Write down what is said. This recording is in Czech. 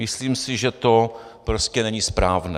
Myslím si, že to prostě není správné.